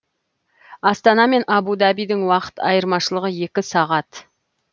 астана мен абу дабидің уақыт айырмашылығы екі сағат